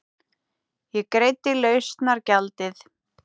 Ég greiddi lausnargjaldið.